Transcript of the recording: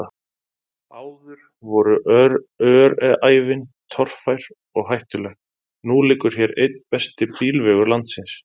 Áður voru öræfin torfær og hættuleg, nú liggur hér einn besti bílvegur landsins.